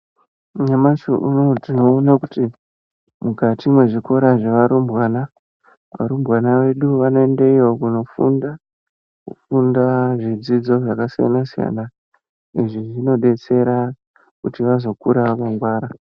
Nyamashi unowu tinoona kuti mukati mwezvikora zvevarumbwana varumbwana vedu vanoendeyo kunofunda kufunda zvidzidzo zvakasiyana siyana izvi zvinodetsera kuti vazokura vakangwara.